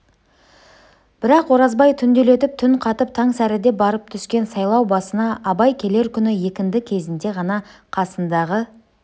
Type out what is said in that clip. бірақ оразбай түнделетіп түн қатып таң сәріде барып түскен сайлау басына абай келер күні екінді кезінде ғана қасындағы